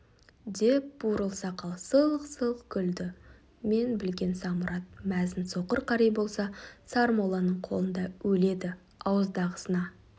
деп бурыл сақал сылқ-сылқ күлді мен білген самұрат мәзін соқыр қари болса сармолланың қолында өледі ауыздағысына